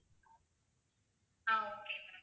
ah okay ma'am